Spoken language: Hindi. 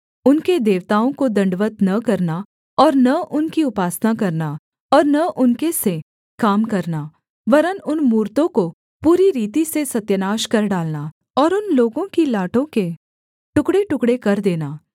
उनके देवताओं को दण्डवत् न करना और न उनकी उपासना करना और न उनके से काम करना वरन् उन मूरतों को पूरी रीति से सत्यानाश कर डालना और उन लोगों की लाटों के टुकड़ेटुकड़े कर देना